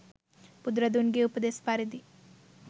බුදුරදුන්ගේ උපදෙස් පරිදි